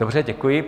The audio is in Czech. Dobře, děkuji.